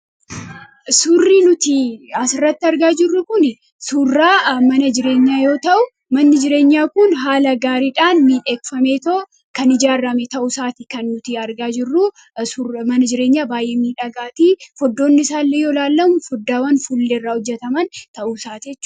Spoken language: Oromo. surrii nuti asirratti argaa jirruu kun surraa mana jireenyaa yoo ta'u manni jireenyaa kun haala gaariidhaan niidheekfameetoo kan ijaarrame ta'uu isaati kan nuti argaa jmana jireenyaa baay'eemii dhagaatii foddoonni isaallee yoo laallamu foddaawan fulleerraa hojjataman ta'uu isaatee